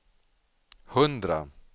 hundra